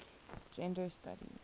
gender studies